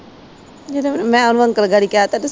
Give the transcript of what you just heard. ਜਦੋਂ ਫਿਰ ਅੰਕਲ ਗਾੜੀ ਕਹਿਤਾ ਤੇ